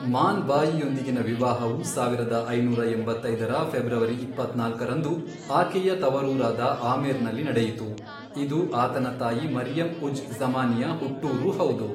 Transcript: ಮಾನ್ ಬಾಯಿಯೊಂದಿಗಿನ ವಿವಾಹವು, ಸಾವಿರದ ಐನೂರ ಎಂಬತ್ತೈದರ ಫೆಬ್ರವರಿ ಇಪ್ಪತ್ನಾಲ್ಕರಂದು, ಆಕೆಯ ತವರೂರಾದ ಆಮೇರ್ನಲ್ಲಿ ನಡೆಯಿತು, ಇದು ಆತನ ತಾಯಿ ಮರಿಯಂ ಉಜ್ ಜ಼ಮಾನಿಯ ಹುಟ್ಟೂರೂ ಹೌದು.